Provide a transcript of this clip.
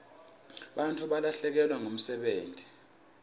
bantfu balahlekelwa ngumsebenti